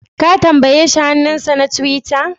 Ka tambaye shi hannunsa na tiwita?